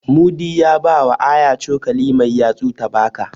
Mudi ya bawa Aya cokali mai yatsu ta baka.